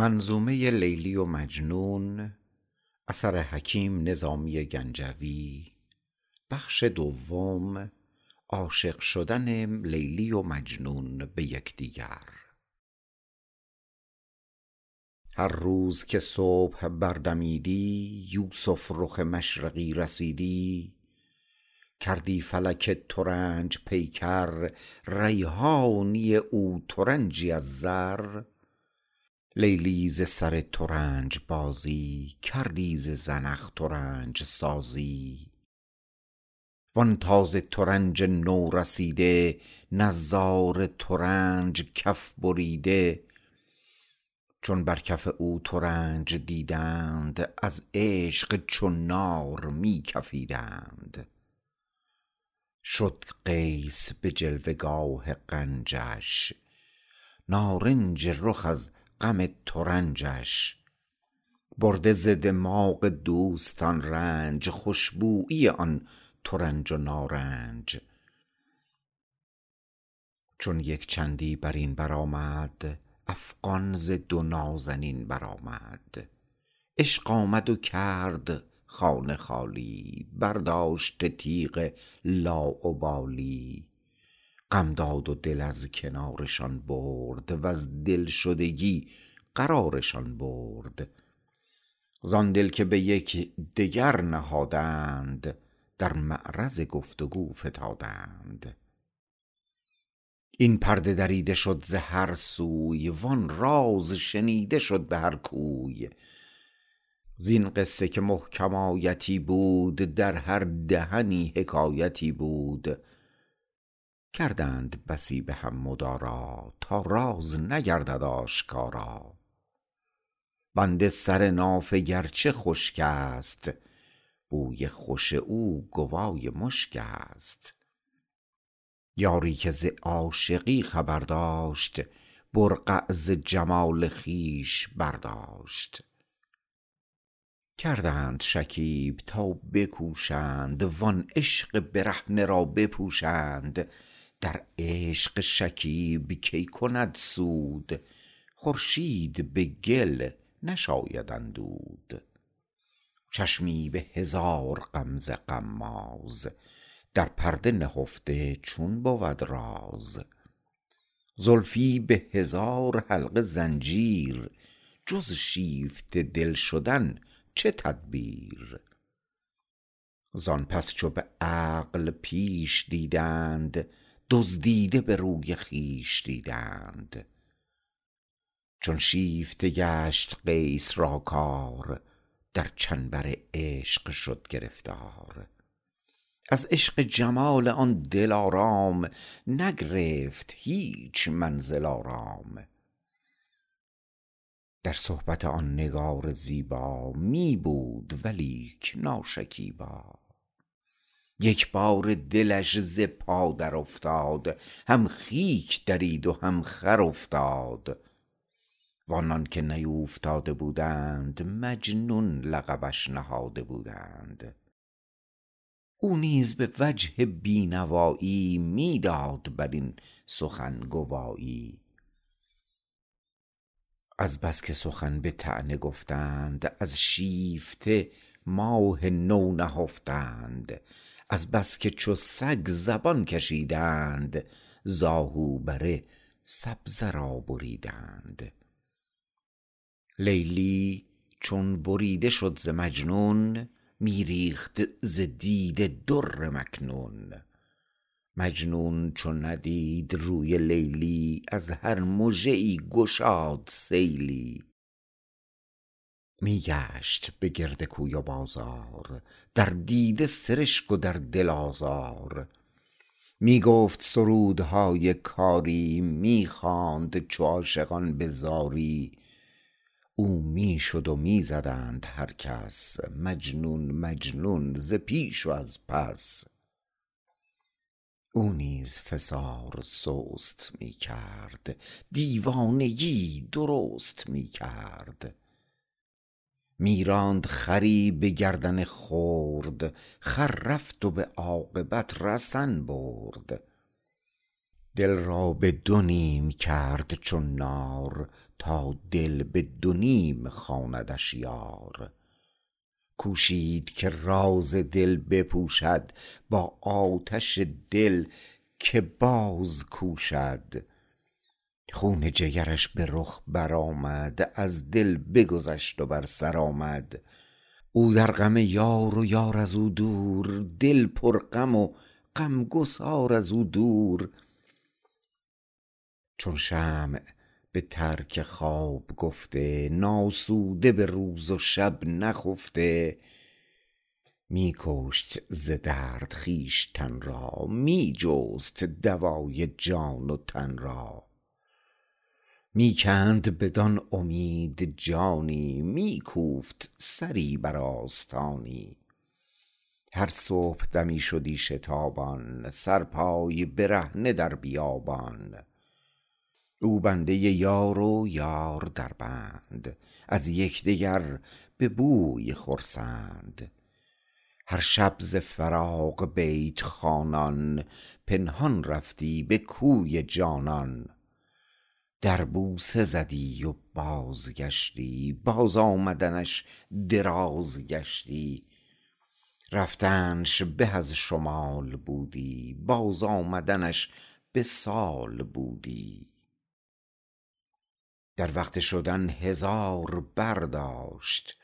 هر روز که صبح بردمیدی یوسف رخ مشرقی رسیدی کردی فلک ترنج پیکر ریحانی او ترنجی از زر لیلی ز سر ترنج بازی کردی ز زنخ ترنج سازی زان تازه ترنج نو رسیده نظاره ترنج و کف بریده چون بر کف او ترنج دیدند از عشق چو نار می کفیدند شد قیس به جلوه گاه غنجش نارنج رخ از غم ترنجش برده ز دماغ دوستان رنج خوش بویی آن ترنج و نارنج چون یک چندی بر این برآمد افغان ز دو نازنین برآمد عشق آمد و کرد خانه خالی برداشته تیغ لاابالی غم داد و دل از کنارشان برد وز دل شدگی قرارشان برد زان دل که به یکدگر نهادند در معرض گفتگو فتادند این پرده دریده شد ز هر سوی وان راز شنیده شد به هر کوی زین قصه که محکم آیتی بود در هر دهنی حکایتی بود کردند بسی به هم مدارا تا راز نگردد آشکارا بند سر نافه گر چه خشک است بوی خوش او گوای مشک است یاری که ز عاشقی خبر داشت برقع ز جمال خویش برداشت کردند شکیب تا بکوشند وان عشق برهنه را بپوشند در عشق شکیب کی کند سود خورشید به گل نشاید اندود چشمی به هزار غمزه غماز در پرده نهفته چون بود راز زلفی به هزار حلقه زنجیر جز شیفته دل شدن چه تدبیر زان پس چو به عقل پیش دیدند دزدیده به روی خویش دیدند چون شیفته گشت قیس را کار در چنبر عشق شد گرفتار از عشق جمال آن دلآرام نگرفت به هیچ منزل آرام در صحبت آن نگار زیبا می بود ولیک ناشکیبا یک باره دلش ز پا درافتاد هم خیک درید و هم خر افتاد و آنان که نیوفتاده بودند مجنون لقبش نهاده بودند او نیز به وجه بینوایی می داد بر این سخن گوایی از بس که سخن به طعنه گفتند از شیفته ماه نو نهفتند از بس که چو سگ زبان کشیدند زآهو بره سبزه را بریدند لیلی چو بریده شد ز مجنون می ریخت ز دیده در مکنون مجنون چو ندید روی لیلی از هر مژه ای گشاد سیلی می گشت به گرد کوی و بازار در دیده سرشک و در دل آزار می گفت سرودهای کاری می خواند چو عاشقان به زاری او می شد و می زدند هر کس مجنون مجنون ز پیش و از پس او نیز فسار سست می کرد دیوانگی ای درست می کرد می راند خری به گردن خرد خر رفت و به عاقبت رسن برد دل را به دو نیم کرد چون نار تا دل به دو نیم خواندش یار کوشید که راز دل بپوشد با آتش دل که باز کوشد خون جگرش به رخ برآمد از دل بگذشت و بر سر آمد او در غم یار و یار ازو دور دل پر غم و غمگسار از او دور چون شمع به ترک خواب گفته ناسوده به روز و شب نخفته می کشت ز درد خویشتن را می جست دوای جان و تن را می کند بدان امید جانی می کوفت سری بر آستانی هر صبح دمی شدی شتابان سرپای برهنه در بیابان او بنده یار و یار در بند از یکدیگر به بوی خرسند هر شب ز فراق بیت خوانان پنهان رفتی به کوی جانان در بوسه زدی و بازگشتی بازآمدنش دراز گشتی رفتنش به از شمال بودی باز آمدنش به سال بودی در وقت شدن هزار پر داشت